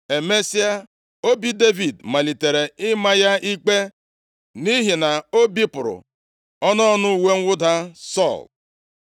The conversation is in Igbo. Emesịa, obi Devid malitere ịma ya ikpe nʼihi na o bipụrụ ọnụ ọnụ uwe mwụda Sọl.